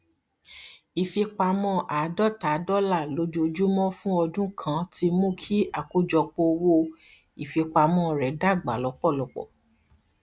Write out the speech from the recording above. ìfipamọ àdọta dọlà lójoojúmọ fún ọdún kan ti mú kí àkójọpọ owó ìfipamọ rẹ dágbà lọpọlọpọ